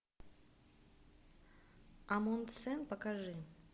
амундсен покажи